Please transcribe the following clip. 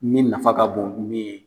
Min nafa ka bon min ye